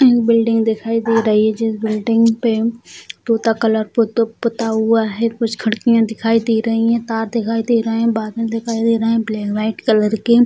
एक बिल्डिंग दिखाई दे रही है जिस बिल्डिंग पे तोता कलर पुता हुआ है | कुछ खिड़कियाँ दिखाई दे रही हैं तार दिखाई दे रहे हैं बादल दिखाई दे रहा हैं ब्लै वाइट कलर की |